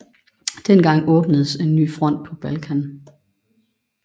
Dengang åbnedes ny front på Balkan